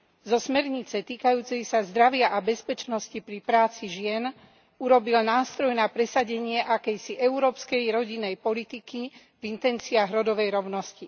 Zo smernice týkajúcej sa zdravia a bezpečnosti pri práci žien urobil nástroj na presadenie akejsi európskej rodinnej politiky v intenciách rodovej rovnosti.